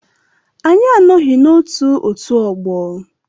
Anyị anọghị na otù otú ọgbọ.